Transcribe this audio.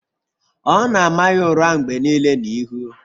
Ọ na-ama ya ụra mgbe nile n'ihu.